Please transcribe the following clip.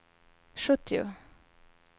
sjuttio